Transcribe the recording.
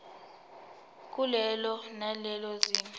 kulelo nalelo zinga